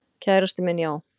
Kærastinn minn, já.